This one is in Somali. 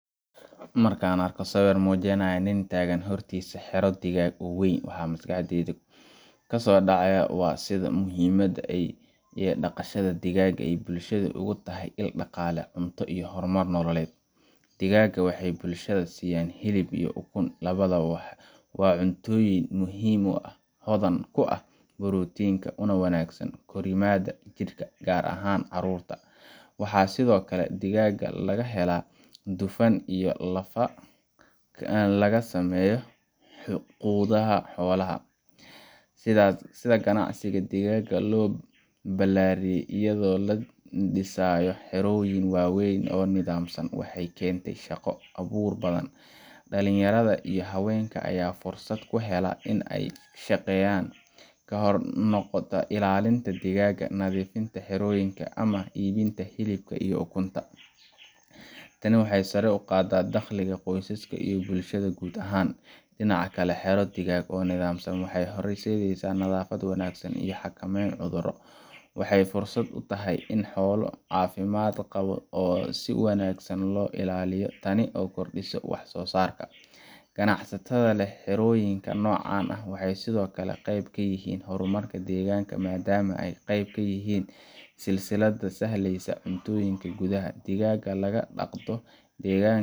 Markaan arko sawir muujinaya nin taagan hortiisa xero digaag oo weyn, waxa maskaxda ka muuqda waa sida muhiimka ah ee dhaqashada digaagga ay bulshada uga tahay il dhaqaale, cunto, iyo horumar nololeed. Digaagga waxay bulshada siiyaan hilib iyo ukun labadaba waa cuntooyin muhiim ah oo hodan ku ah borotiinka, una wanaagsan korriimada jidhka, gaar ahaan carruurta. Waxaa sidoo kale digaagga laga helaa dufan iyo lafaha laga sameeyo quudada xoolaha kale. Sida ganacsiga digaagga loo ballaariyay iyadoo la dhisayo xerooyin waaweyn oo nidaamsan, waxay keentay shaqo abuur badan. Dhalinyarada iyo haweenka ayaa fursad u hela in ay shaqeeyaan, ha noqoto ilaalinta digaagga, nadiifinta xerooyinka, ama iibinta hilibka iyo ukunta. Tani waxay sare u qaadaa dakhliga qoysaska iyo bulshada guud ahaan. Dhinaca kale, xero digaag oo nidaamsan waxay horseedaysaa nadaafad wanaagsan iyo xakameyn cudurro. Waxay fursad u tahay in la helo xoolo caafimaad qaba oo si wanaagsan loo ilaaliyo, taas oo kordhinaysa wax soo saarka. Ganacsatada leh xerooyinka noocan ah waxay sidoo kale qayb ka yihiin horumarka deegaanka, maadaama ay qayb ka yihiin silsiladda sahayda cuntooyinka gudaha. Digaagga laga dhaqdo deegaanka